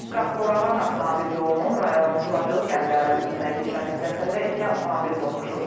Qax Qorağan avtomobil yolunun rayonun Turacılı kəndi ərazisindən keçən hissəsində iki avtomobil toqquşub.